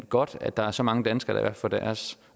godt at der er så mange danskere der får opfyldt deres